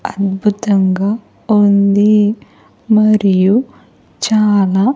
అద్భుతంగా ఉంది మరియు చాలా.